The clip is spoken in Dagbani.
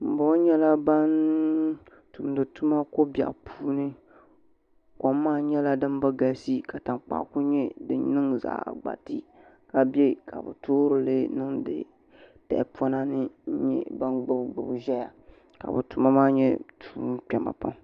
Ban boŋɔ nyɛla ban tumdi tuma kobiɛɣu puuni kom maa nyɛla din bi galisi ka tankpaɣu ku nyɛ fin niŋ zaɣ gbati ka biɛ ka bi toorili niŋdi tahapona ni gbubi gbubi ʒɛyq ka bi tuma maa nyɛ tuun kpɛma pam